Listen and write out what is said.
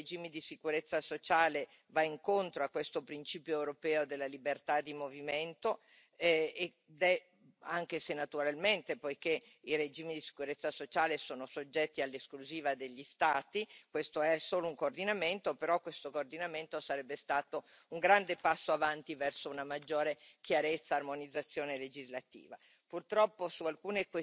e il coordinamento dei regimi di sicurezza sociale va incontro a questo principio europeo della libertà di movimento, anche se, naturalmente, poiché i regimi di sicurezza sociale sono soggetti all'esclusiva degli Stati, questo è solo un coordinamento, però questo coordinamento sarebbe stato un grande passo avanti verso una maggiore chiarezza e armonizzazione legislativa.